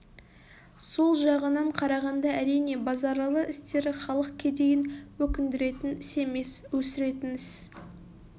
сол жағынан қарағанда әрине базаралы істері халық кедейін өкіндіретін іс емес өсіретін іс